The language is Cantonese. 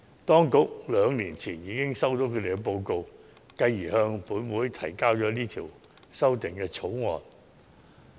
當局兩年前已收到他們的報告，繼而向本會提交《條例草案》。